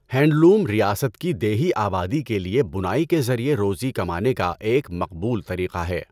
Handloom ریاست کی دیہی آبادی کے لیے بُنائی کے ذریعے روزی کمانے کا ایک مقبول طریقہ ہے۔